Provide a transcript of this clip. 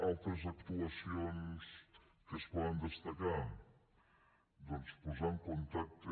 altres actuacions que es poden destacar doncs posar en contacte